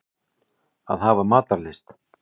Að hafa matarlyst.